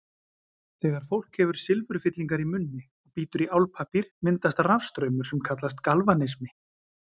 Þegar fólk hefur silfurfyllingar í munni og bítur í álpappír myndast rafstraumur sem kallast galvanismi.